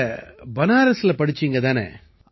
நீங்க பனாரஸில படிசீங்க தானே